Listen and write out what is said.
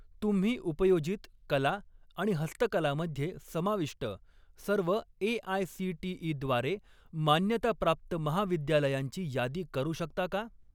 तुम्ही उपयोजित कला आणि हस्तकला मध्ये समाविष्ट सर्व ए.आय.सी.टी.ई. द्वारे मान्यताप्राप्त महाविद्यालयांची यादी करू शकता का?